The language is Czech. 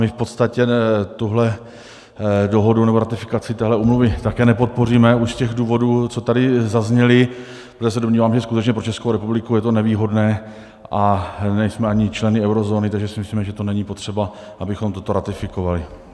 My v podstatě tuhle dohodu nebo ratifikaci téhle úmluvy také nepodpoříme už z těch důvodů, co tady zazněly, protože se domníváme, že skutečně pro Českou republiku je to nevýhodné, a nejsme ani členy eurozóny, takže si myslíme, že to není potřeba, abychom toto ratifikovali.